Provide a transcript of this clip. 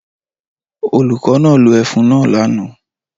Olùkọ́ náà lo ẹfun náà lánàá